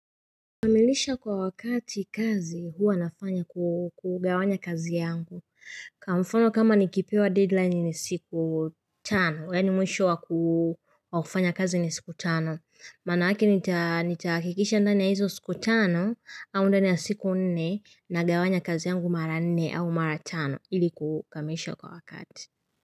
Kamilisha kwa wakati kazi huwa nafanya kukugawanya kazi yangu. Kwa mfano kama nikipewa deadline ni siku tano. Yaani mwisho wakufanya kazi ni siku tano. Maanake nitahakikisha ndani ya hizo siku tano au ndani ya siku nne nagawanya kazi yangu mara nne au mara tano ili kukamilisha kwa wakati.